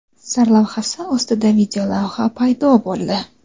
sarlavhasi ostida videolavha paydo bo‘ldi.